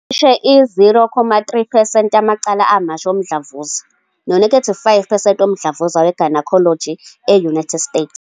Kwenza cishe i-0.3 percent yamacala amasha womdlavuza, no-5 percent womdlavuza we-gynecologic e-United States.